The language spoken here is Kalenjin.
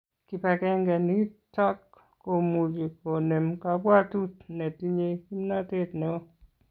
kibagenge nitok komuchi konem kabwatut ne tinye kimnatet neo